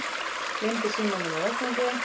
Gleymdi símanum á vettvangi